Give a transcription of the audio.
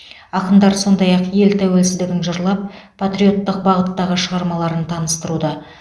ақындар сондай ақ ел тәуелсіздігін жырлап патриоттық бағыттағы шығармаларын таныстыруда